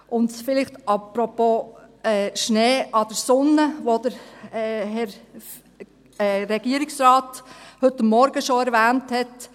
Und vielleicht noch apropos Schnee an der Sonne, den der Herr Regierungsrat heute Morgen schon erwähnt hat: